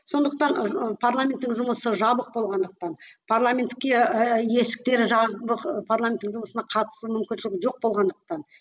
сондықтан ы парламентің жұмысы жабық болғандықтан парламентке есіктері жабық парламенттің жұмысына қатысу мүмкіншілігі жоқ болғандықтан